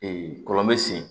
kɔlɔn bɛ sen